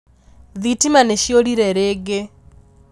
Thitima nīciūrire rīngī